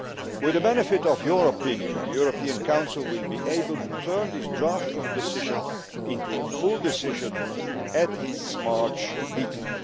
With the benefit of your opinion, the European Council will be able to turn this draft decision into a full decision at its March meeting.